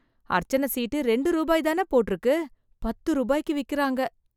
அர்ச்சன சீட்டு ரெண்டு ரூபாய்தான போட்டு இருக்கு. பத்து ரூபாய்க்கு விக்கிறாங்க.